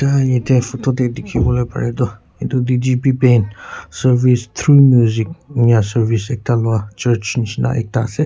photo de dekhe bo le pariya tu cervices through music ena services ekda lolai church ena shena ek da ase.